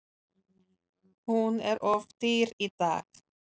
Hún er of dýr í dag.